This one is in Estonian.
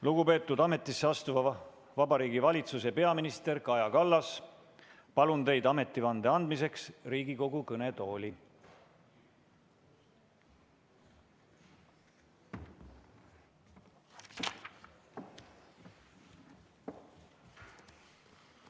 Lugupeetud ametisse astuva Vabariigi Valitsuse peaminister Kaja Kallas, palun teid ametivande andmiseks Riigikogu kõnetooli!